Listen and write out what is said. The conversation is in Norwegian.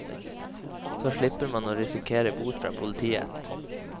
Så slipper man å risikere bot fra politiet.